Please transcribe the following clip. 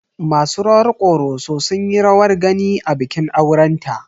Masu rawar Ƙoroso sun yi rawar gani a bikin aurenta.